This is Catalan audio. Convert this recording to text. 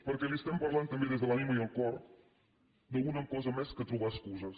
perquè li parlem també des de l’ànima i el cor d’alguna cosa més que trobar excuses